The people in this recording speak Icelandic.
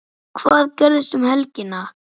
Hvað gerist um helgina?